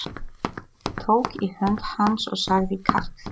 Tók í hönd hans og sagði Karl